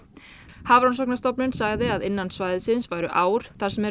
Hafrannsóknastofnun sagði að innan svæðisins væru ár þar sem er